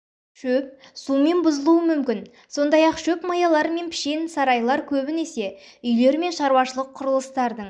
шөп сумен бұзылуы мүмкін сондай-ақ шөп маялары мен пішен сарайлар көбінесе үйлер мен шаруашылық құрылыстардың